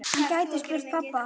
Hann gæti spurt pabba.